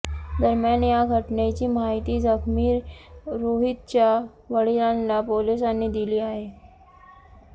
दरम्यान या घटनेची माहिती जखमी रोहितच्या वडिलांना पोलिसांनी दिली आहे